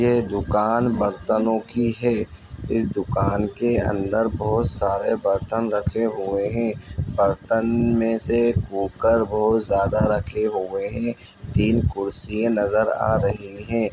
ये दुकान बर्तनों की है इस दुकान के अंदर बहोत सारे बर्तन रखे हुए है बर्तन में से कुकर बहोत ज़्यादा रखे हुए है तीन कुर्सियां नजर आ रही है।